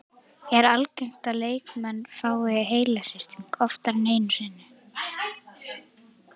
Er algengt að leikmenn fái heilahristing oftar en einu sinni?